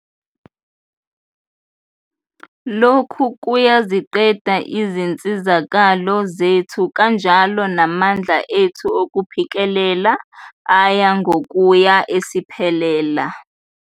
Lokhu kuyaziqeda izinsizakalo zethu kanjalo namandla ethu okuphikelela aya ngokuya esiphelela.